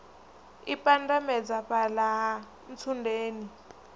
i pandamedza fhala ha ntsundeni